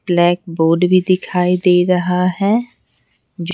Black board भी दिखाई दे रहा है ।